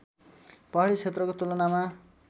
पहाडी क्षेत्रको तुलनामा